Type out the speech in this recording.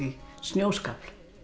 snjóskafl